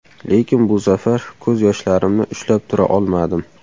Lekin bu safar ko‘z yoshlarimni ushlab tura olmadim.